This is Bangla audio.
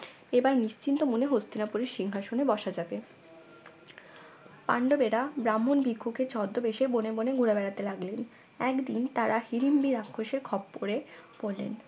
এবার নিশ্চিন্ত মনে হস্তিনাপুরের সিংহাসনে বসা যাবে পান্ডবেরা ব্রাহ্মণ ভিক্ষুকের ছদ্মবেশে বনে বনে ঘুরে বেড়াতে লাগলেন একদিন তারা হিরিম্বি রাক্ষসের খপ্পরে পড়লেন